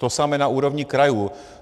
To samé na úrovni krajů.